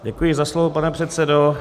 Děkuji za slovo, pane předsedo.